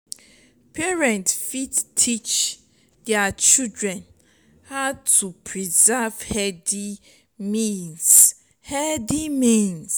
parents fit teach their children how to preserve healthy means healthy means